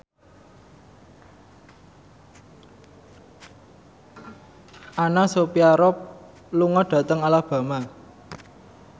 Anna Sophia Robb lunga dhateng Alabama